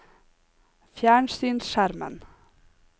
fjernsynsskjermen